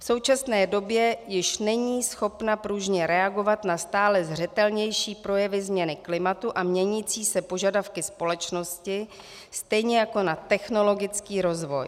V současné době již není schopna pružně reagovat na stále zřetelnější projevy změny klimatu a měnící se požadavky společnosti stejně jako na technologický rozvoj.